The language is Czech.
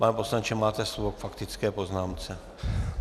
Pane poslanče, máte slovo k faktické poznámce.